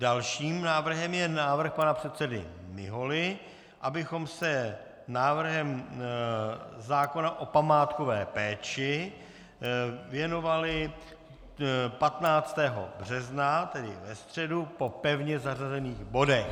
Dalším návrhem je návrh pana předsedy Miholy, abychom se návrhu zákona o památkové péči věnovali 15. března, tedy ve středu, po pevně zařazených bodech.